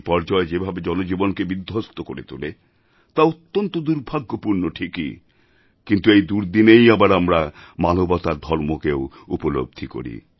বিপর্যয় যেভাবে জনজীবনকে বিধ্বস্ত করে তোলে তা অত্যন্ত দুর্ভাগ্যপূর্ণ ঠিকই কিন্তু এই দুর্দিনেই আবার আমরা মানবতার ধর্মকেও উপলব্ধি করি